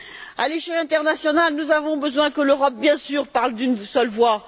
À l'échelle internationale, nous avons besoin que l'Europe, bien sûr, parle d'une seule voix.